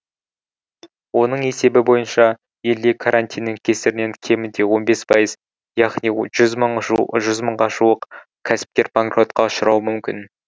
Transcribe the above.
оның есебі бойынша елде карантиннің кесірінен кемінде он бес пайыз яғни жүз мыңға жуық кәсіпкер банкротқа ұшырауы мүмкін